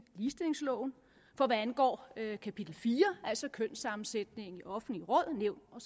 ligestillingsloven hvad angår kapitel fire altså kønssammensætningen i offentlige råd nævn og